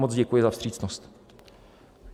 Moc děkuji za vstřícnost.